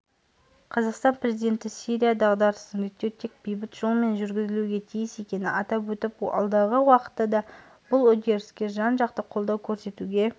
қазақстан президенті сирия дағдарысын реттеу тек бейбіт жолмен жүргізілуге тиіс екенін атап өтіп алдағы уақытта да бұл үдеріске жан-жақты қолдау көрсетуге